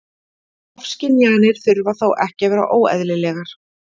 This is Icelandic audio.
Ofskynjanir þurfa þó ekki að vera óeðlilegar.